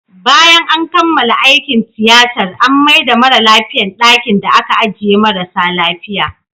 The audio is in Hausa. Bayan an kammala aikin tiyatar, an maida mara lafiyan dakin da ake ajiye marasa lafia